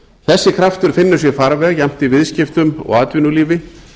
þessi kraftur finnur sér farveg jafnt í viðskiptum og atvinnulífi